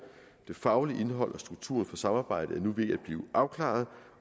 det faglige indhold og strukturen for samarbejdet er nu ved at blive afklaret